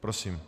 Prosím.